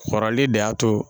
Kɔrɔli de y'a to